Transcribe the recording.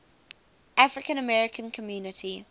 african american community